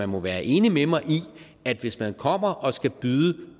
må være enig med mig i at hvis man kommer og skal byde